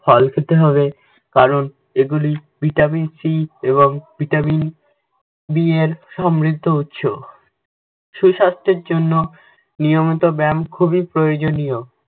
ফল খেতে হবে কারণ এগুলি vitamin C এবং vitaminB এর সমৃদ্ধ উৎস। সুস্বাস্থের জন্য নিয়মিত ব্যায়াম খুবই প্রয়োযনীয়।